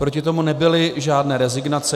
Proti tomu nebyly žádné rezignace.